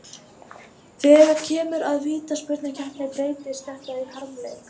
Þegar kemur að vítaspyrnukeppni breytist þetta í harmleik.